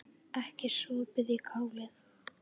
Ekki sopið í kálið.